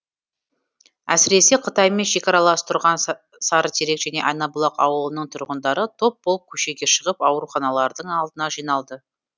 әсіресе қытаймен шекаралас тұрған сарытерек және айнабұлақ ауылының тұрғындары топ болып көшеге шығып ауруханалардың алдына жиналды